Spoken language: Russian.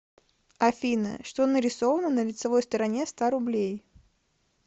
афина что нарисовано на лицевой стороне ста рублей